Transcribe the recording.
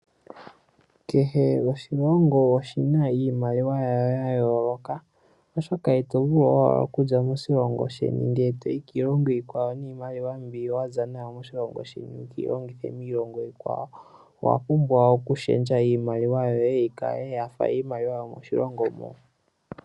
Kehe oshilongo oshina iimaliwa yasho ya yooloka oshoka ito vulu owala okuza moshilongo shetu ndele toyi kiilongo iikwawo niimaliwa mbi wa za nayo moshilongo sheni wu keyi longithe kiilongo iikwawo ihe owa pumbwa okushendja iimaliwa yoye yi kale yafa yomoshilongo moka.